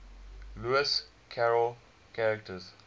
lewis carroll characters